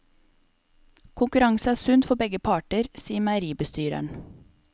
Konkurranse er sunt for begge parter, sier meieribestyreren.